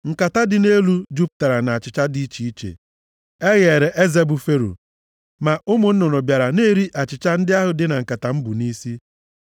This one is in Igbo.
Nkata nke dị nʼelu jupụtara na achịcha dị iche iche e gheere eze, bụ Fero. Ma ụmụ nnụnụ bịara na-eri achịcha ndị ahụ dị na nkata m bụ nʼisi.”